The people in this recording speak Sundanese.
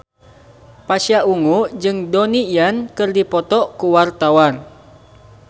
Pasha Ungu jeung Donnie Yan keur dipoto ku wartawan